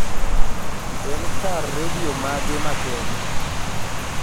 en kar redio mage ma kenya